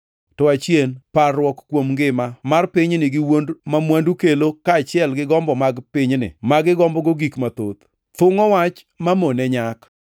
To achien parruok kuom ngima mar pinyni gi wuond ma mwandu kelo kaachiel gi gombo mag pinyni ma gigombogo gik mathoth, thungʼo Wach mamone nyak.